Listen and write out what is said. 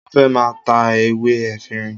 Mo fẹ́ máa ta ewé efinrin